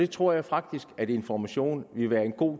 tror jeg faktisk at information ville være en